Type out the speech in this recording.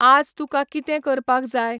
आज तुका कितें करपाक जाय?